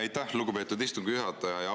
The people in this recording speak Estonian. Aitäh, lugupeetud istungi juhataja!